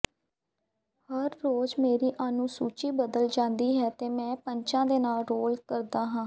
ਹਰ ਰੋਜ਼ ਮੇਰੀ ਅਨੁਸੂਚੀ ਬਦਲ ਜਾਂਦੀ ਹੈ ਅਤੇ ਮੈਂ ਪੰਚਾਂ ਦੇ ਨਾਲ ਰੋਲ ਕਰਦਾ ਹਾਂ